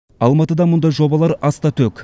алматыда мұндай жобалар аста төк